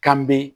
K'an be